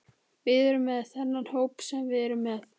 Við erum með þennan hóp sem við erum með.